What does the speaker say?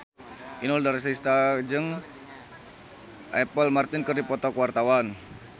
Inul Daratista jeung Apple Martin keur dipoto ku wartawan